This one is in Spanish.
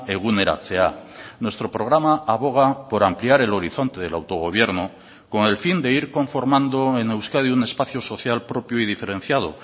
eguneratzea nuestro programa aboga por ampliar el horizonte del autogobierno con el fin de ir conformando en euskadi un espacio social propio y diferenciado